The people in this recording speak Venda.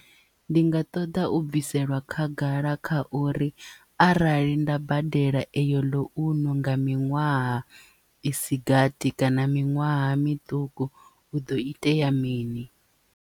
Ndi nga ṱoḓa u bviselwa khagala kha uri arali nda badela eyo ḽounce nga miṅwaha isi gathi kana miṅwaha miṱuku hu do itea mini.